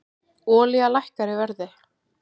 Olía lækkar í verði